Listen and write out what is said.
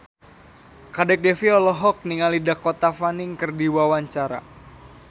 Kadek Devi olohok ningali Dakota Fanning keur diwawancara